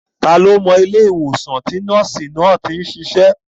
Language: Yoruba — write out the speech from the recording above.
Ta ni ó mọ ilé ìwòsàn tí nọ́ọ̀sì náà tí ń sisẹ́?